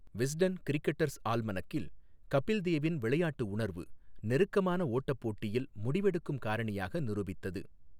Wisden cricketers ஆல்மனக்கில், கபில் தேவின் விளையாட்டு உணர்வு நெருக்கமான ஓட்டப் போட்டியில் முடிவெடுக்கும் காரணியாக நிரூபித்தது.